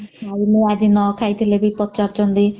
ଆଉ ମୁ ଆଜି ନଖାଇଲେ ବି ପଚାରୁଛନ୍ତି